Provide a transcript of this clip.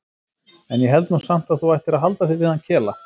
En ég held nú samt að þú ættir að halda þig við hann Kela.